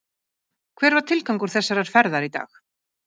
Hver var tilgangur þessarar ferðar í dag?